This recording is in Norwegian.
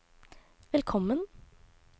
velkommen